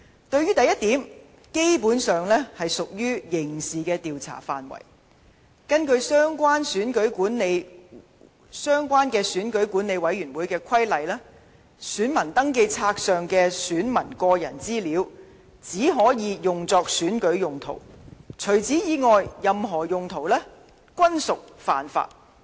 對於第一點，基本上屬於刑事調查範圍，根據相關選舉管理委員會規例，選民登記冊上的選民個人資料只可用作選舉用途，除此以外的一切任何用途均屬犯法。